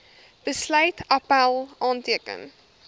besluit appèl aanteken